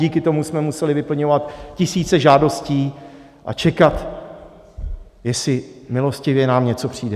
Díky tomu jsme museli vyplňovat tisíce žádostí a čekat, jestli milostivě nám něco přijde.